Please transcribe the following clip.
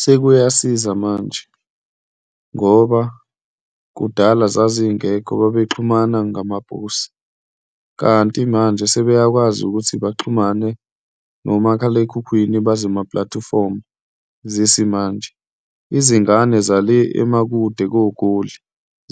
Sekuyasiza manje ngoba kudala zazingekho, babexhumana ngamaposi, kanti manje sebeyakwazi ukuthi baxhumane nomakhalekhukhwini bazemapulatifomu zesimanje. Izingane zale amakude koGoli